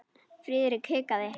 Friðrik hikaði.